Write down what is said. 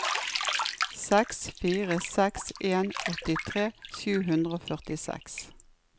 seks fire seks en åttitre sju hundre og førtiseks